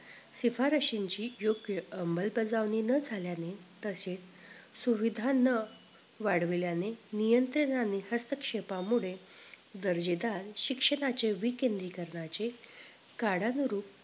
शिफारशींची योग्य अमल बजावणी न झाल्याने तसेच सुविधा न वाढविल्याने नियंत्रित आणि हस्तक्षेपामुळे दर्जेदार शिक्षणाचे विकेन्द्रीकरणाचे कडानुरूप